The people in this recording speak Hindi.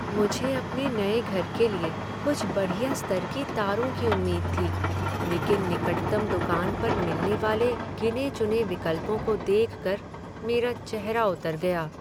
मुझे अपने नए घर के लिए कुछ बढ़िया स्तर की तारों की उम्मीद थी, लेकिन निकटतम दुकान पर मिलने वाले गिने चुने विकल्पों को देखकर मेरा चेहरा उतर गया।